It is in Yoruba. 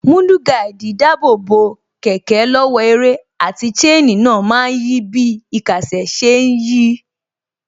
Mudguard dáàbò bo kẹ̀kẹ́ lọ́wọ́ ẹrẹ̀, àti chain náà má ń yí bí īkásè sí ṣe ń yí